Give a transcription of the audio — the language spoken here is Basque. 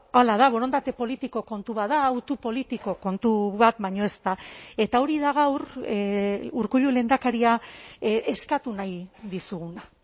hala da borondate politiko kontu bat da hautu politiko kontu bat baino ez da eta hori da gaur urkullu lehendakaria eskatu nahi dizuguna